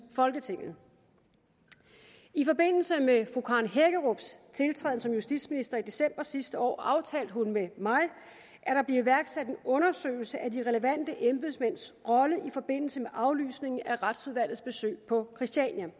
folketinget i forbindelse med fru karen hækkerups tiltræden som justitsminister i december sidste år aftalte hun med mig at der blev iværksat en undersøgelse af de relevante embedsmænds rolle i forbindelse med aflysningen af retsudvalgets besøg på christiania de